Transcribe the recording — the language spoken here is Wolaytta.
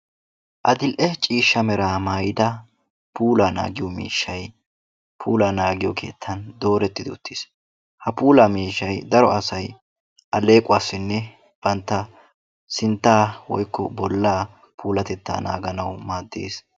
Adil'e ciishsha meraa maayida puulaa naagiyo miishay puulaa naagiyo keettan doorettidi uttiis. Ha puulaa miishshay daro asay aleequwassinne banta sintta woykko bolaa puulatettaa naaganawu maaddees.